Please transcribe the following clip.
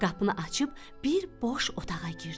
Qapını açıb bir boş otağa girdi.